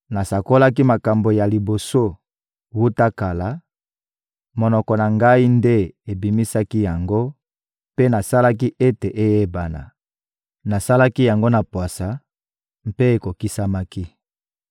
Nasakolaki makambo ya liboso wuta kala, monoko na ngai nde ebimisaki yango mpe nasalaki ete eyebana; nasalaki yango na pwasa mpe ekokisamaki.